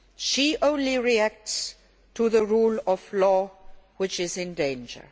She only reacts to the rule of law which is in danger.